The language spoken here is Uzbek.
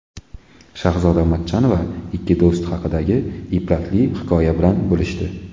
Shahzoda Matchonova ikki do‘st haqidagi ibratli hikoya bilan bo‘lishdi.